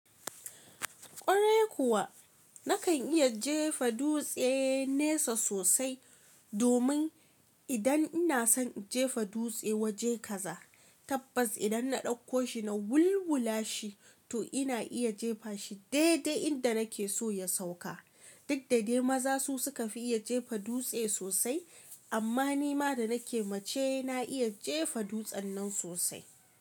Kwarai kuwa, nakan iya jefa dutse nesa sosai, domin idan ina son in jefa dutse waje kaza, tabbas idan na ɗauko shi na wulwula shi, to ina iya jefa shi daidai inda nake so ya sauka. Duk da dai maza su suka fi iya jefa dutse sosai, amma ni ma da nake mace na iya jefa dutsen nan sosai.